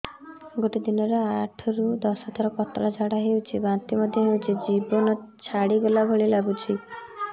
ଗୋଟେ ଦିନରେ ଆଠ ରୁ ଦଶ ଥର ପତଳା ଝାଡା ହେଉଛି ବାନ୍ତି ମଧ୍ୟ ହେଉଛି ଜୀବନ ଛାଡିଗଲା ଭଳି ଲଗୁଛି